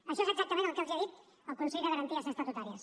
això és exactament el que els ha dit el consell de garanties estatutàries